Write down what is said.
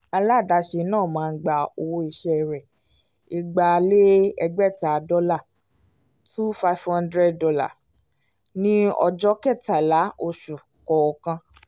aládàsẹ̀ náà máa ń gba owó iṣẹ́ rẹ igba lé egbeta dọ́là $2500 ní ọjọ́ kẹtàlá oṣù kọọkan